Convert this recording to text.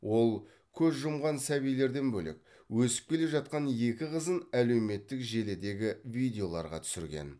ол көз жұмған сәбилерден бөлек өсіп келе жатқан екі қызын әлеуметтік желідегі видеоларға түсірген